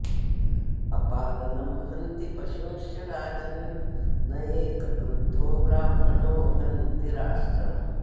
अपालनं हन्ति पशूंश्च राजन्न् एकः क्रुद्धो ब्राह्मणो हन्ति राष्ट्रम्